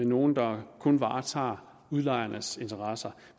nogle der kun varetager udlejernes interesser